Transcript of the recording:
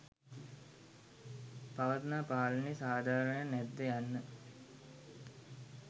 පවත්නා පාලනය සාධාරණද නැද්ද යන්න